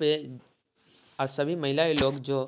यहां पे अ सभी महिलाएं लोग जो